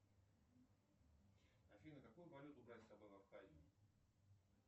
афина какую валюту брать с собой в абхазию